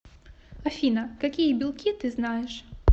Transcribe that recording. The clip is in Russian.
афина какие белки ты знаешь